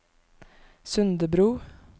Sundebru